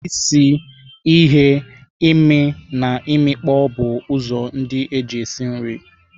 Isi, ighe, ime and imikpo bụ ụzọ ndị eji esi nri.